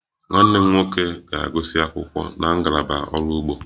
Nwanne m nwoke ga-agụsị akwụkwọ na ngalaba ọrụ ugbo